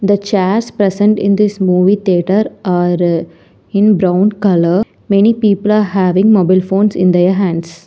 The chairs present in this movie theatre or in brown colour many people having mobile phones in their hands.